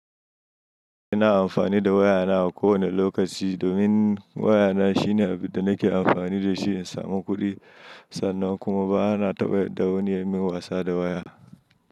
Ina amfani da wayana a kowane lokaci domin wayana shine abin da nake amfani da shi in samu kuɗi sannan kuma bana taɓa yadda wani ya yi min wasa da waya.